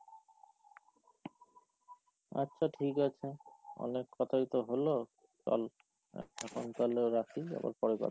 আচ্ছা ঠিক আছে, অনেক কথাই তো হলো, চল, এখন তাহলেও রাখি, আবার পরে কথা,